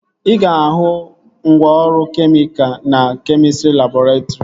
Ị ga-ahụ ngwaọrụ kemịka na kemịstrị labọretrị